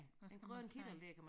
Hvad skal man sige